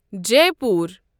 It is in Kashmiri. جیٖپور